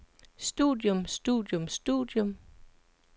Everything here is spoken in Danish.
studium studium studium